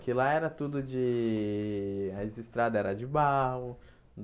Que lá era tudo de... as estradas eram de barro.